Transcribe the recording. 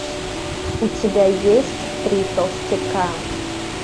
у тебя есть три толстяка